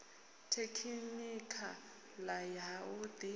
tekhinikha ḽa ha u ḓi